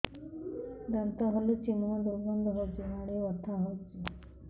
ଦାନ୍ତ ହଲୁଛି ମୁହଁ ଦୁର୍ଗନ୍ଧ ହଉଚି ମାଢି ବଥା ହଉଚି